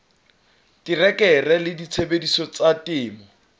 terekere le disebediswa tsa temo